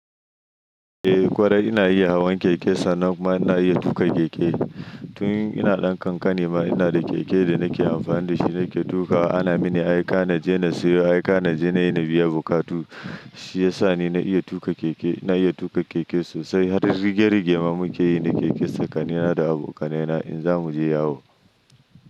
Eh kwarai ina iya hawan keke, sannan kuma ina iya tuƙa keke. Tun ina ɗan kankani ma ina da keke da nake amfani da shi nake tuƙawa. Ana mini aika na je na siyo, aika na je na yi na biya bukatu. Shi ya sa ni na iya tuƙa keke, ina iya tuƙa keke sosai. Har rigar rigema muke yi na keke tsakanina da abokanaina in za mu je yawo.